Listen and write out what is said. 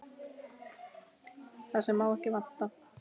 Það sem má ekki vanta!